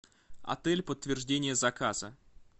отель подтверждение заказа